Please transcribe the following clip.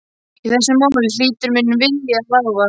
Í þessu máli hlýtur minn vilji að ráða.